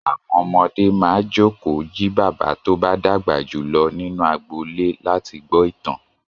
Àwọn ọmọdé máa jókòó yí bàbá tó bá dàgbà jù lọ nínú agbolé láti gbọ́ ìtàn.